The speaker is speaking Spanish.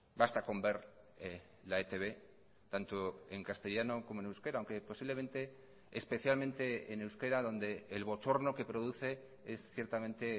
basta con ver la etb tanto en castellano como en euskera aunque posiblemente especialmente en euskera donde el bochorno que produce es ciertamente